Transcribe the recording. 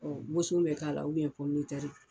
boson bɛ k'a la